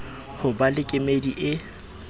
ho ba le kemedi e